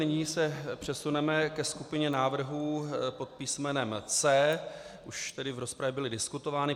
Nyní se přesuneme ke skupině návrhů pod písmenem C. Už tady v rozpravě byly diskutovány.